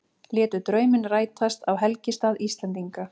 Létu drauminn rætast á helgistað Íslendinga